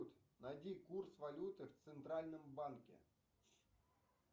найди курс валюты в центральном банке